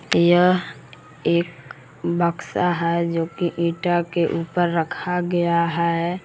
यह एक बक्सा है जोकि ईटा के ऊपर रखा गया है।